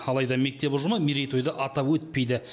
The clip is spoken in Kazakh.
алайда мектеп ұжымы мерейтойды атап өтпейді